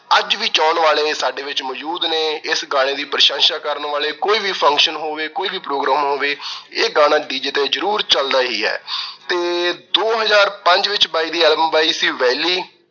ਅੱਜ ਵੀ ਚਾਹੁਣ ਵਾਲੇ ਸਾਡੇ ਵਿੱਚ ਮੌਜੂਦ ਨੇ। ਇਸ ਗਾਣੇ ਦੀ ਪ੍ਰਸ਼ੰਸਾ ਕਰਨ ਵਾਲੇ। ਕੋਈ ਵੀ function ਹੋਵੇ, ਕੋਈ ਵੀ program ਹੋਵੇ। ਇਹ ਗਾਣਾ DJ ਤੇ ਜ਼ਰੂਰ ਚੱਲਦਾ ਈ ਏ ਤੇ ਦੋ ਹਜ਼ਾਰ ਪੰਜ ਵਿੱਚ ਬਾਈ ਦੀ album ਆਈ ਸੀ ਵੈਲੀ।